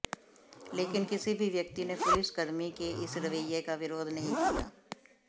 लेकिन किसी भी व्यक्ति ने पुलिस कर्र्मी के इस रवैये का विरोध नहीं किया